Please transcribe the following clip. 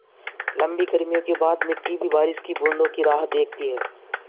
लम्बी गर्मियों के बाद मिट्टी भी बारिश की बूँदों की राह देखती है